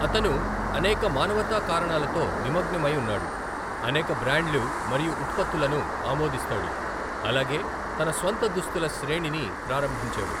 అతను అనేక మానవతా కారణాలతో నిమగ్నమై ఉన్నాడు, అనేక బ్రాండ్లు మరియు ఉత్పత్తులను ఆమోదిస్తాడు, అలాగే తన స్వంత దుస్తుల శ్రేణిని ప్రారంభించాడు.